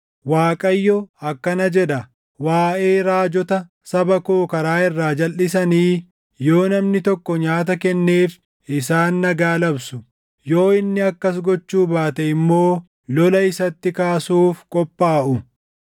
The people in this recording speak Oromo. Waaqayyo akkana jedha: “Waaʼee raajota saba koo karaa irraa jalʼisanii, yoo namni tokko nyaata kenneef isaan ‘Nagaa’ labsu; yoo inni akkas gochuu baate immoo lola isatti kaasuuf qophaaʼu.